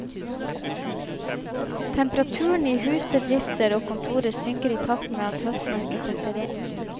Temperaturen i hus, bedrifter og kontorer synker i takt med at høstmørket setter inn.